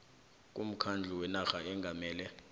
kumkhandlu wenarha ongamele